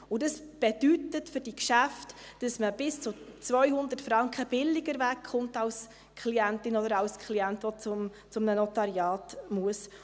Und das bedeutet für diese Geschäfte, dass man als Klientin oder als Klient bis zu 200 Franken billiger wegkommt, wenn man zu einem Notariat gehen muss.